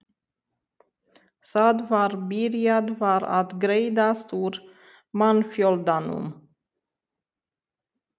Það var byrjað var að greiðast úr mannfjöldanum.